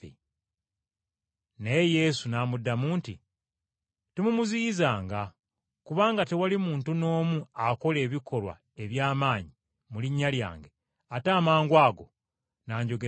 Naye Yesu n’amuddamu nti, “Temumuziyizanga, kubanga tewali muntu n’omu akola ebikolwa eby’amaanyi mu linnya lyange ate amangwago n’anjogerako bibi.